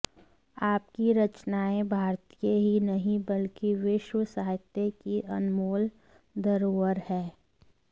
आपकी रचनाएं भारतीय ही नहीं बल्कि विश्व साहित्य की अनमोल धरोहर है